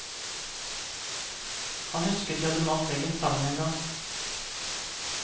Han husket de hadde malt veggen sammen en gang.